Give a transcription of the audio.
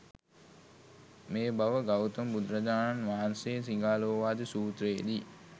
මේ බව ගෞතම බුදුරජාණන් වහන්සේ සිඟාලෝවාද සුත්‍රයේ දී